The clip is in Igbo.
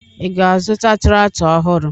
Ị ga-azụta traktọ ọhụrụ?